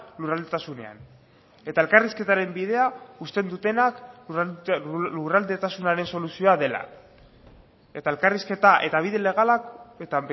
lurraldetasunean eta elkarrizketaren bidea uzten dutenak lurraldetasunaren soluzioa dela eta elkarrizketa eta bide legalak eta